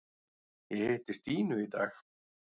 Ég hitti Stínu í dag.